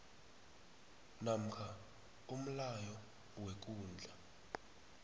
namkha umlayo wekundla